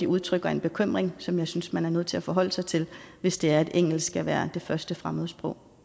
udtrykker en bekymring som jeg synes man er nødt til at forholde sig til hvis det er at engelsk skal være det første fremmedsprog